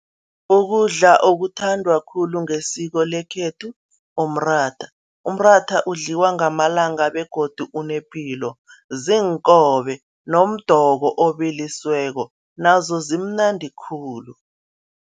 Ukudla okuthandwa khulu ngesiko lekhethu, umratha. Umratha udliwa ngamalanga begodu unepilo, ziinkobe nomdoko obilisiweko, nazo zimnandi khulu.